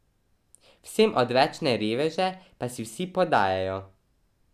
Vsem odvečne reveže pa si vsi podajajo.